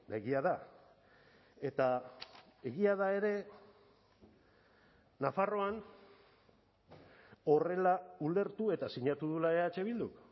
egia da eta egia da ere nafarroan horrela ulertu eta sinatu duela eh bilduk